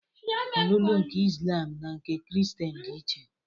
Ọlụlụ nke Izlam na nke Kristien dị iche